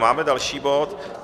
Máme další bod.